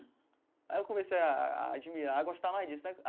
Aí eu comecei a a a admirar, a gostar mais disso né.